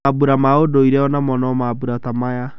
Mambũra ma ũndũire onamo ni mambũra ta maya.